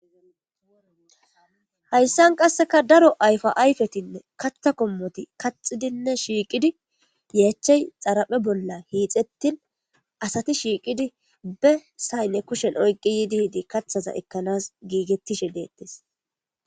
hayssan qasseka daro ayfa ayfetinne kaththa kommoti kaxidinne shiiqidi yeechey xaraphe bolla hiixettin asati shiiqidi be saynne kushen oyqi yiidi hidi kathaza ekkanas giigettishe deettes